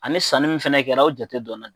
Ani sanni min fana kɛra o jate donnen .